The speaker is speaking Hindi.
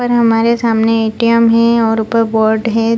और हमारे सामने ए.टी.एम. है और ऊपर बोर्ड है।